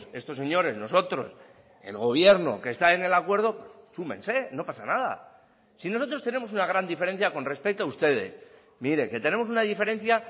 estos señores nosotros el gobierno que está en el acuerdo súmense no pasa nada si nosotros tenemos una gran diferencia con respecto a ustedes mire que tenemos una diferencia